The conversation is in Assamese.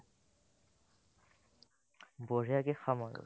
বঢ়িয়াকে খাম আৰু